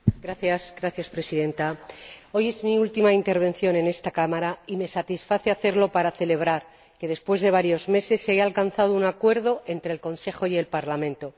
Señora Presidenta, esta es mi última intervención en esta Cámara y me satisface hacerlo para celebrar que después de varios meses se haya alcanzado un acuerdo entre el Consejo y el Parlamento.